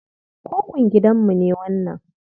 Kukun gidanmu ne wannan.